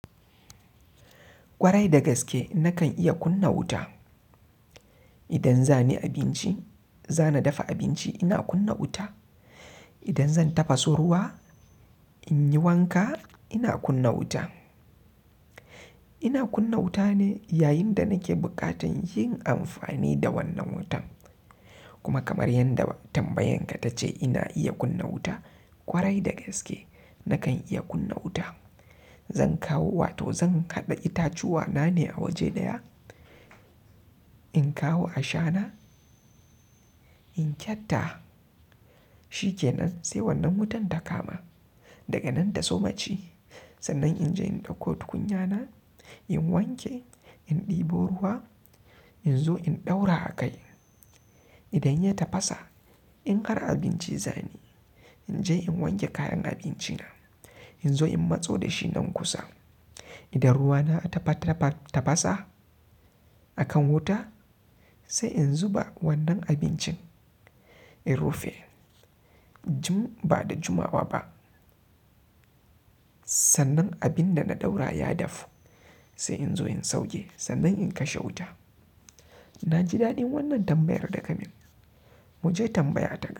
Kwarai da gaske nakan iya kunna wuta. Idan za ni abinci, za na dafa abinci ina kunna wuta idan zan dafa su ruwa in yi wanka ina kunna wuta. Ina kunna wuta ne yayin da nake bukatan yin amfani da wannan wutan kuma kamar yanda tambayan ka ta ce ina iya kunna wuta. Kwarai da gaske nakan iya kunna wuta. Zan kawo, wato zan haɗa itacuwa na ne a waje ɗaya. In kawo a shana, in kyatta, shi ke nan sai wannan wutan ta kama. Daga nan da sumacci sannan in je in ɗauko tukunya na, in wanke, in ɗibo ruwa in zo in ɗaura a kai. Idan ya tafasa in har abinci za ni yi in je in wanke kayan abinci na, in zo in matso da shi nan kusa. Idan ruwa na ta fa-tafasa a kan wuta, sai in zuba wannan abincin. In rufe, jum-ba da jumawa ba. Sannan abin da na ɗaura ya dafu, sai in zo in sauke. Sannan in kashe wuta. Na ji daɗin wannan tambayar daka min. Mu je tambaya ta ga.